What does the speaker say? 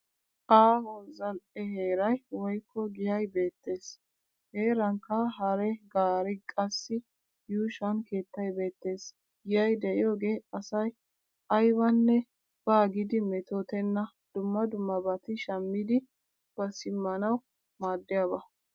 Aaho zal'e heeray woykko giyay beettes. Heerankka hare gaaree qassi yuushuwan keettay beettes. Giyay de'iyoogee asay aybanne baa giidi metootenna dumma dummabati shammidi ba simmanawu maaddiyaaba.